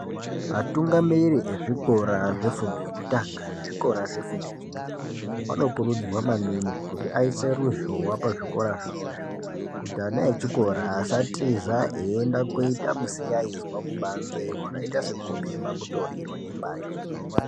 Vatungamiri ezvikora zvefundo yekutanga nezvikora zvefundo yechipiri vanokurudzirwa maningi kuti aise ruzhowa pazvikora zvawozvo kuti ana echikora asatiza eienda koita misikaizwa kubanze wakaita sekubhema mitoriro nembanje.